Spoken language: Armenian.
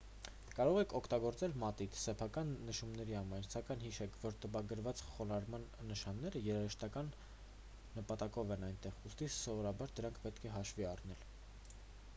կարող եք օգտագործել մատիտ սեփական նշումների համար սակայն հիշեք որ տպագրված խոնարհման նշանները երաժշտական նպատակով են այնտեղ ուստի սովորաբար դրանք պետք է հաշվի առնել